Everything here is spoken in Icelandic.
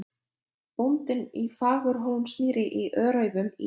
Bóndinn á Fagurhólsmýri í Öræfum í